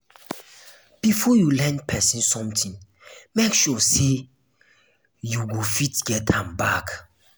before you lend pesin sometin make sure sey you go fit get am back.